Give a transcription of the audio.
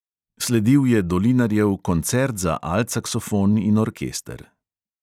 Sledil je dolinarjev koncert za alt saksofon in orkester.